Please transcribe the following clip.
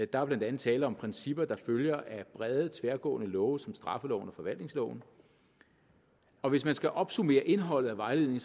der er blandt andet tale om principper der følger af brede tværgående love som straffeloven og forvaltningsloven og hvis man skal opsummere indholdet af vejledningen